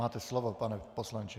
Máte slovo, pane poslanče.